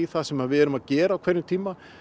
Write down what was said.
það sem við erum að gera á hverjum tíma